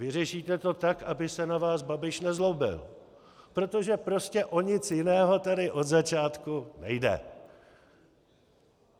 Vyřešíte to tak, aby se na vás Babiš nezlobil, protože prostě o nic jiného tady od začátku nejde.